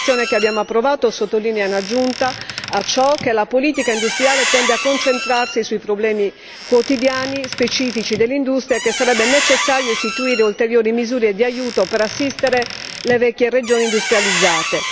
La relazione che abbiamo approvato sottolinea, in aggiunta a ciò, che la politica industriale tende a concentrarsi sui problemi quotidiani specifici dell'industria e che sarebbe necessario istituire ulteriori misure di aiuto per assistere le vecchie regioni industrializzate.